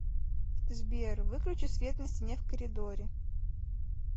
сбер выключи свет на стене в коридоре